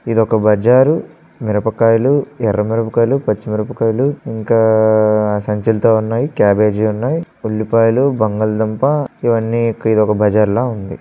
ఇదొక బజారు మిరపకాయలు ఎర్ర మిరపకాయలు పచ్చిమిరపకాయలు ఇంకా సంచులతో ఉన్నాయి క్యాబేజీ ఉన్నాయి ఉల్లిపాయలు బంగాళదుంప ఇవన్నీ ఇదొక బజార్ లా ఉంది.